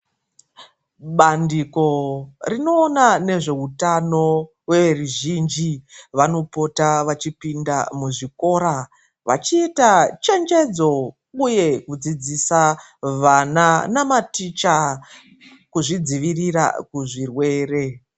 Bandiko rinoona nezveutano rweruzhinji vanopota vachipinda muzvikora vachiita chenjedzo uye kudzidzisa vana namaticha kuzvidzivirira kuzvirwere.